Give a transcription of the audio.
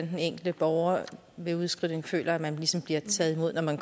den enkelte borger ved udskrivning føler at man ligesom bliver taget imod når man